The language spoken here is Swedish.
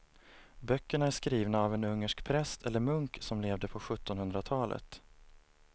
Böckerna är skrivna av en ungersk präst eller munk som levde på sjuttonhundratalet.